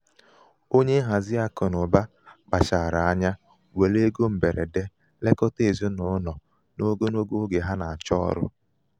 onye nhazi akụnaụba kpachara akụnaụba kpachara anya were égo mgberede lekọta ezinaụlọ n'ogologo oge ha na-achọ ọrụ